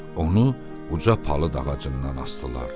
Onu uca palıd ağacından asdılar.